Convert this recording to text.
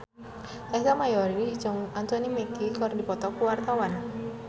Ersa Mayori jeung Anthony Mackie keur dipoto ku wartawan